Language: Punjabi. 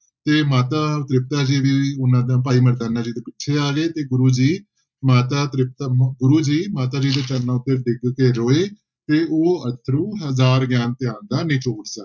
ਤੇ ਮਾਤਾ ਤ੍ਰਿਪਤਾ ਜੀ ਨੇ ਉਹਨਾਂ ਦਾ ਭਾਈ ਮਰਦਾਨਾ ਜੀ ਤੋਂ ਪੁੱਛਿਆ ਗੁਰੂ ਜੀ ਮਾਤਾ ਤ੍ਰਿਪਤਾ ਮ~ ਗੁਰੂ ਜੀ ਮਾਤਾ ਜੀ ਦੇ ਚਰਨਾਂ ਉੱਤੇ ਡਿੱਗ ਕੇ ਰੋਏ ਤੇ ਉਹ ਅਥਰੂ ਹਜ਼ਾਰ ਗਿਆਨ ਧਿਆਨ ਦਾ ਨਿਚੋੜ ਸਨ।